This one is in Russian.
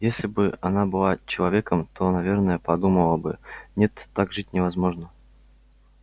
если бы она была человеком то наверное подумала бы нет так жить невозможно